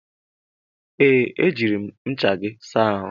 Ee, ejiri m ncha gị saa ahụ.